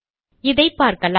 இதை பார்க்கலாம்